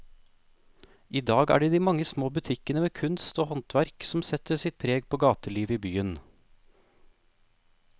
I dag er det de mange små butikkene med kunst og håndverk som setter sitt preg på gatelivet i byen.